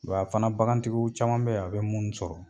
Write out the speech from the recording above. Wa fana bagantigiw caman bɛ yan a bɛ munnu sɔrɔ.